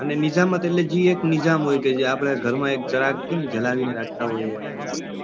અને નિઝામત એટલે જે એક નિઝામ હોય કે જે આપડે ઘરમાં જરાક કેમ જણાવી ને રાખતા હોય.